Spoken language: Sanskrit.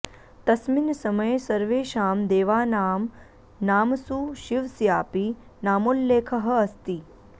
तस्मिन् समये सर्वेषां देवानां नामसु शिवस्यापि नामोल्लेखः अस्ति